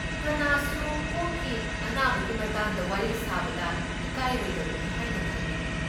ꯀꯅꯥꯁꯨ ꯀꯣꯛꯀꯤ ꯑꯅꯥꯕꯒꯤ ꯃꯇꯥꯡꯗ ꯋꯥꯔꯤ ꯁꯥꯕꯗ ꯏꯀꯥꯏꯔꯣꯏꯗꯕꯅꯤ ꯍꯥꯏꯅ ꯈꯜꯂꯦ꯫